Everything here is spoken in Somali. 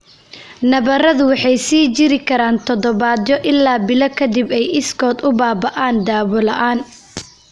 Nabaradu waxay sii jiri karaan toddobaadyo ilaa bilo ka dibna ay iskood u baaba'aan, daawo la'aan.